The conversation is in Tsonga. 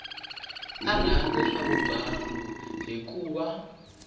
a rhandza swa vugangu hikuva